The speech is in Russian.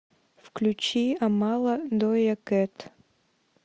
включи амала доя кэт